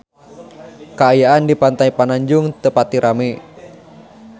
Kaayaan di Pantai Pananjung teu pati rame